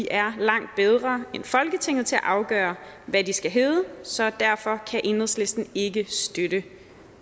er langt bedre end folketinget til at afgøre hvad de skal hedde så derfor kan enhedslisten ikke støtte